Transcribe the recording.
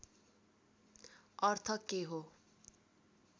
अर्थ के हो